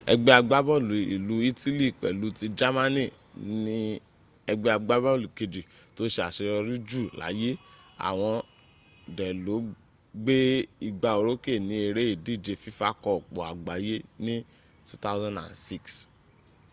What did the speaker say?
egbe agbaboolu ilu itili pelu ti jamani ni egbe agbaboolu keji to se aseyori ju laye awon de lo gbe igba oroke ni ere idije fifa koopu agbaye ni 2006